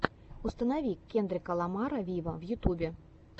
установи кендрика ламара виво в ютюбе